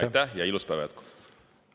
Aitäh ja ilusat päeva jätku!